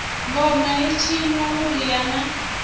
ngoma i tshinwa vhuriha na